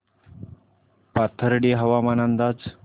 पाथर्डी हवामान अंदाज